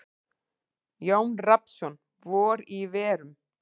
Jón Rafnsson: Vor í verum.